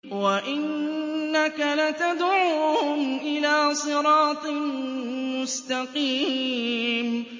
وَإِنَّكَ لَتَدْعُوهُمْ إِلَىٰ صِرَاطٍ مُّسْتَقِيمٍ